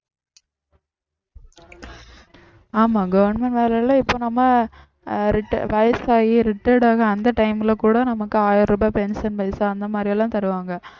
ஆமா government வேலையில இப்ப நம்ம ஆஹ் reti~ வயசாகி retired ஆக அந்த time ல கூட நமக்கு ஆயிரம் ரூபாய் pension பைசா அந்த மாதிரி எல்லாம் தருவாங்க